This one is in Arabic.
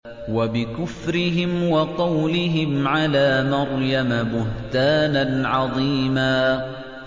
وَبِكُفْرِهِمْ وَقَوْلِهِمْ عَلَىٰ مَرْيَمَ بُهْتَانًا عَظِيمًا